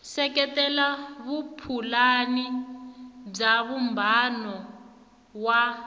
seketela vupulani bya vumbano wa